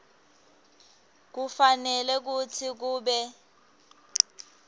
kufanele kutsi kube